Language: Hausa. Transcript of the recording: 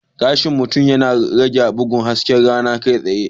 Gashin mutum yana rage bugun hasken rana kai tsaye.